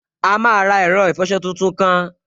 A máa ra ẹ̀rọ ìfọsọ tuntun kan